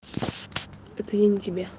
это я не тебе